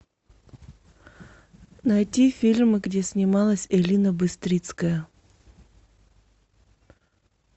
найти фильмы где снималась элина быстрицкая